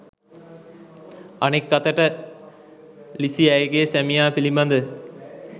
අනෙක් අතට ලිසී ඇගේ සැමියා පිලිබද